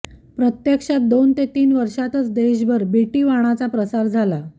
प्रत्यक्षात दोन ते तीन वर्षातच देशभर बीटीवाणाचा प्रसार झाला